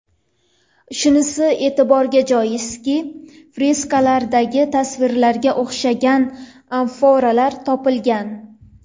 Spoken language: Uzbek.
Shunisi e’tiborga joizki, freskalardagi tasvirlarga o‘xshagan amforalar topilgan.